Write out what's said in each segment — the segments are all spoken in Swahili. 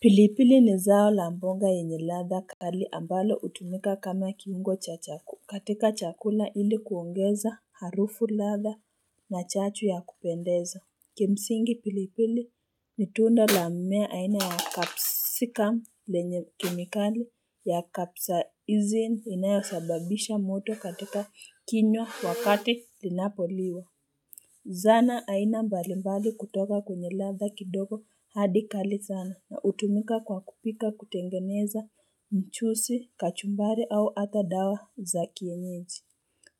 Pilipili ni zao la mbonga yenye ladha kali ambalo hutumika kama kiungo cha chakula katika chakula ili kuongeza harufu ladha na chachu ya kupendeza. Kimsingi pilipili ni tunda la mmea aina ya capsicum lenye kimikali ya capsaicin inayosababisha moto katika kinywa wakati linapoliwa Zana aina mbalimbali kutoka kwenye ladha kidogo hadi kali sana na hutumika kwa kupika kutengeneza mchusi, kachumbari au hata dawa za kienyeji.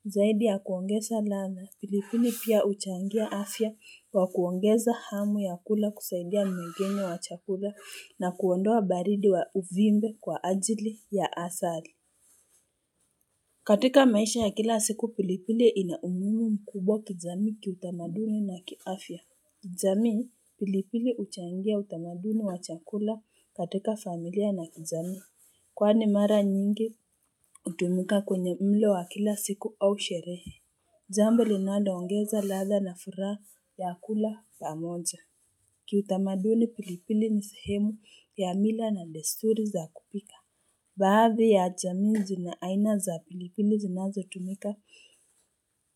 Zaidi ya kuongeza ladha, pilipili pia huchangia afya kwa kuongeza hamu ya kula kusaidia mwingine wa chakula na kuondoa baridi wa uvimbe kwa ajili ya asali. Katika maisha ya kila siku pilipili ina umuhimu mkubwa kijamii kiutamaduni na kiafya. Kijamii, pilipili huchangia utamaduni wa chakula katika familia na kijamii. Kwani mara nyingi, hutumuka kwenye mlo wa kila siku au sherehe. Jambo linaloongeza ladha na furaha ya kula pamoja. Kiutamaduni pilipili ni sehemu ya mila na desturi za kupika. Baadhi ya jamii zina aina za pilipili zinazotumika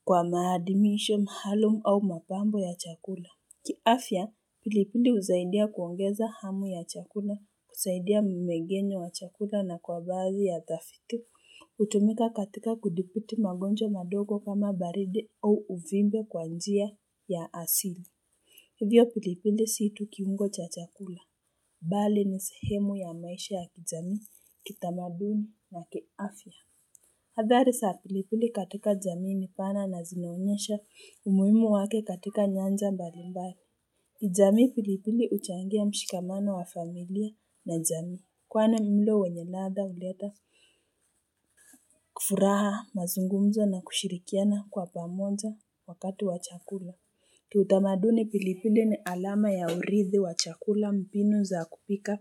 kwa maadimisho maalumu au mapambo ya chakula. Kiafya, pilipili husaidia kuongeza hamu ya chakula, kusaidia mwengenyo wa chakula na kwa baadhi ya tafiti. Hutumika katika kudiputi magonjwa madogo kama baridi au uvimbe kwa njia ya asili. Hivyo pilipili si tu kiungo cha chakula. Mbali ni sehemu ya maisha ya kijamii, kitamaduni na kiafya. Hadhari za pilipili katika jamii ni pana na zinaonyesha umuhimu wake katika nyanja mbalimbari. Kijamii pilipili huchangia mshikamano wa familia na jamii. Kwani mlo wenye ladha huleta furaha mazungumzo na kushirikiana kwa pamoja wakati wa chakula. Kiutamaduni pilipili ni alama ya uridhi wa chakula, mpinu za kupika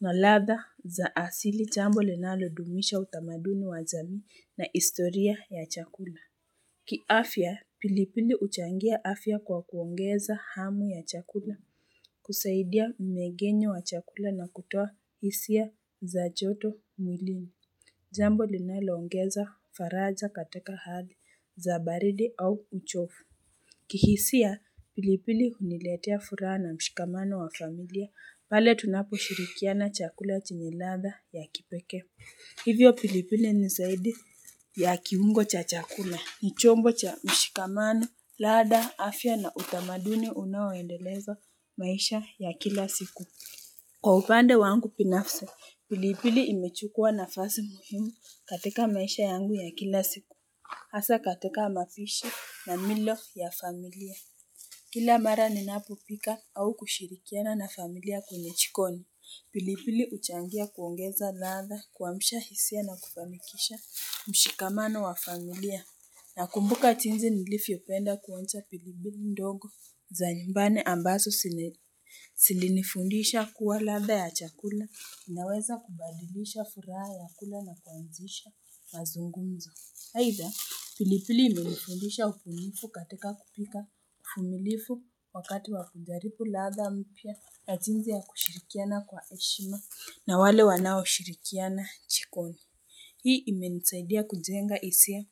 na ladha za asili, jambo linalodumisha utamaduni wa jamii na historia ya chakula. Kiafya, pilipili huchangia afya kwa kuongeza hamu ya chakula, kusaidia mwegenyo wa chakula na kutoa hisia za joto mwilini. Jambo linaloongeza faraja katika hali za baridi au uchofu. Kihisia pilipili huniletea furaha na mshikamano wa familia, pale tunaposhirikiana chakula chenye ladha ya kipekee Hivyo pilipili ni zaidi ya kiungo cha chakula ni chombo cha mshikamano ladha, afya na utamaduni unaoendeleza maisha ya kila siku Kwa upande wangu binafsi pilipili imechukua nafasi muhimu katika maisha yangu ya kila siku, hasa katika mapishi na milo ya familia kila mara ninapopika au kushirikiana na familia kwenye jikoni pilipili huchangia kuongeza ladha kuamsha hisia na kufanikisha mshikamano wa familia nakumbuka jinsi nilivyopenda kuonja pilipili ndogo za nyumbani ambazo zilinifundisha kuwa ladha ya chakula inaweza kubadilisha furaha ya kula na kuanzisha mazungumzo aidha pilipili imenifundisha ubunifu katika kupika uvumilifu wakati wa kujaripu ladha mpya ya jinsi ya kushirikiana kwa heshima na wale wanaoshirikiana jikoni. Hii imenisaidia kujenga hisia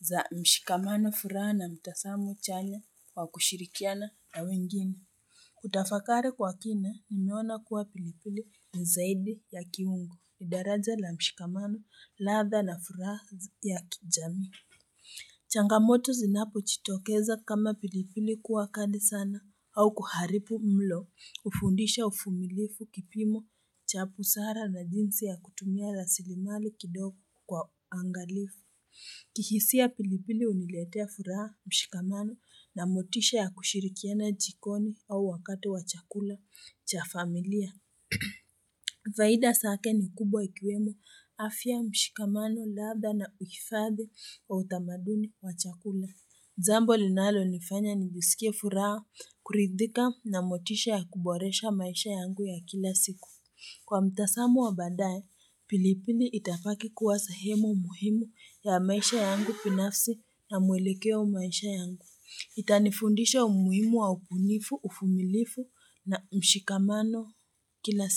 za mshikamano furaha na mtazamo chanya wa kushirikiana na wengine. Kutafakari kwa kina, nimeona kuwa pilipili ni zaidi ya kiungo ni daraja la mshikamano ladha na furaha ya kijamii. Changamoto zinapojitokeza kama pilipili kuwa kali sana au kuharibu mlo, hufundisha uvumilifu, kipimo cha busara na jinsi ya kutumia rasilimali kidogo kwa uangalifu. Kihisia pilipili huniletea furaha mshikamano na motisha ya kushirikiana jikoni au wakati wa chakula cha familia. Faida zake ni kubwa ikiwemo afya mshikamano ladha na huifadhi wa utamaduni wa chakula. Jambo linalonifanya nijisikie furaha kuridhika na motisha ya kuboresha maisha yangu ya kila siku. Kwa mtazamo wa baadaye, pilipili itabaki kuwa sehemu muhimu ya maisha yangu binafsi na mwelekeo maisha yangu. Itanifundisha umuhimu wa ubunifu, uvumilifu na mshikamano kila.